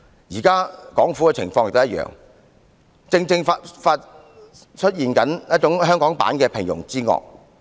現在港府的情況亦一樣，正在出現香港版的"平庸之惡"。